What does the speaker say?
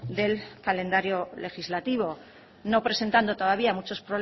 del calendario legislativo no presentando todavía muchos